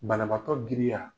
Banabaatɔ griya